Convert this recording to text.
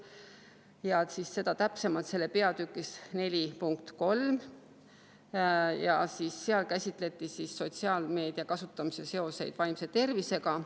Seda täpsemalt peatükis 4.3, kus käsitleti sotsiaalmeedia kasutamise seoseid vaimse tervisega.